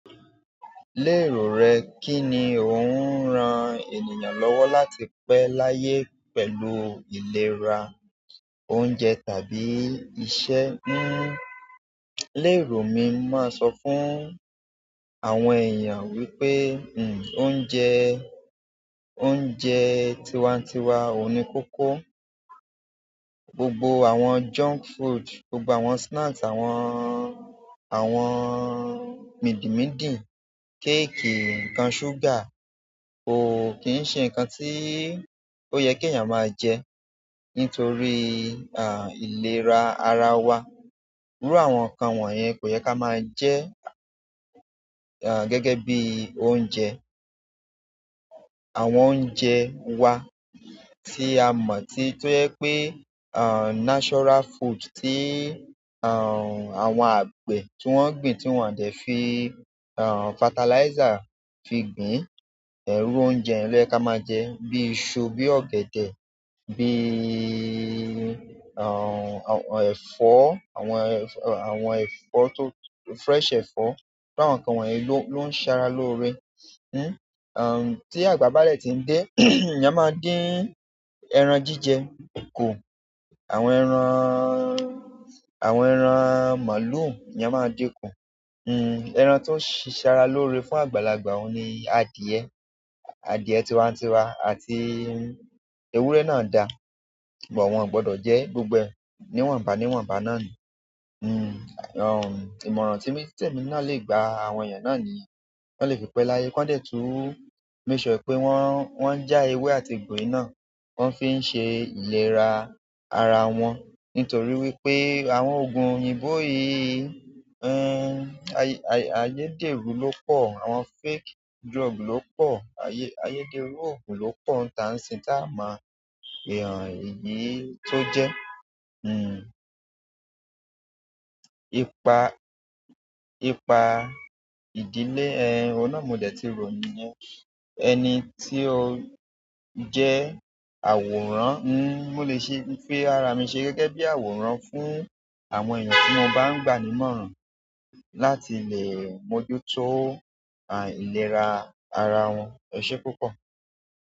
Lérò rẹ, kí ni ò ń ran ènìyàn lọ́wọ́ láti pẹ́ láyé pẹ̀lú ìlera oúnjẹ tàbí iṣẹ́? Hmm, lérò mi, mo máa ń sọ fún àwọn èèyàn wípé, hmm, oúnjẹ, oúnjẹ tiwantiwa òun ní kókó. Gbogbo àwọn junk food, gbogbo àwọn snack, àwọn, àwọn mìdìmídì, cake, ǹkan sugar kò kì í ṣe ǹkan tí ó yẹ kí èèyàn máa jẹ. Nítorí, à, ìlera ara wa. Iru àwọn nkan won ye, ko ye ki a maa je gẹ́gẹ́ bi oúnjẹ àwọn oúnjẹ wa tí a mọ̀, tí ó jẹ pé, à, natural food, tí, à, àwọn àgbẹ̀ tí wọ́n gbìn, tí wọ́n dẹ̀ fi, à, fertilizer fi gbìn, ẹhn irú oúnjẹ yẹ̀n lo ye ká máa jẹ. Bí i iṣu, bí i ọ̀gẹ̀dẹ̀, bí i, à, àwọn ẹ̀fọ́, àwọn, àwọn ẹ̀fọ́ tó-- fresh ẹ̀fọ́. Iru àwọn ǹkan wọ̀nyẹn ló, ló ń sara lóore. Hmm, à, tí àgbà bá dè tí ń dé, ìyán máa ń dín ẹran jíjẹ, ku. Àwọn ẹran, àwọn ẹran màlúù, ìyán máa ń dín kù. Hmm, ẹran tó ń ṣiṣara lóore fún àgbàlagbà òun ni adìyẹ. Adìyẹ tiwantiwa àti ewúrẹ́ náà da. Ṣùgbọ́n wọ́n ò gbọdọ̀ jẹ gbogbo ẹ ni wáǹba ní wáǹba náà ni. Hmm, à, ìmọ̀ràn tí, tí èmi náà lè gba àwọn èèyàn náà ni ti wọ́n lè fi pé láyé. Kań dẹ̀ tún make sure pé wọ́n, wọ́n ń já ewé àti egbo yi náà, wọ́n fi n ṣe ìlera ara wọn. Nítorí wípé àwọn òògùn òyìnbó yìí, hmm, ayé, ayé dèrú ló pọ̀. Àwọn fake drug ló pọ̀. Ayé, ayé dèrú òògùn ló pọ̀. Ǹ ta ń sìn tá a máa èèhàn eyìí tó jẹ́. Hmm, ipa, ipa ìdílé, ẹ, ọ̀un nà mó dẹ̀ ti ròyin yẹn. Ẹni tí ó jẹ́ àwòrán, hmm, mo lè ṣe, fi ara mi ṣe gẹ́gẹ́ bí àwòrán fún àwọn èèyàn tí mo bá ń gba ni imọ̀ọ́ràn láti lè mójútó, à, ìlera ara wọn. Ẹ ṣé púpọ̀.